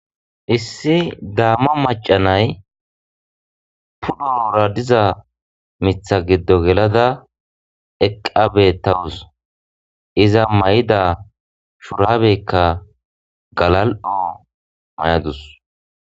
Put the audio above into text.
Issi gaamo maca na'ay pudhara diza wora gelada eqa beetawusu iza mayida shurabeka galal'o mayadus.